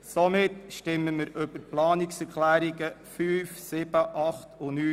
Somit stimmen wir über die Planungserklärungen 5, 7, 8 und 9 ab.